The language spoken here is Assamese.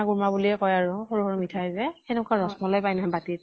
কুৰ্মা বুলিয়ে কয় আৰু। সৰু সৰু মিঠাই যে সেকেকুৱা ৰস মলাই পায় নহয় বাতিত ।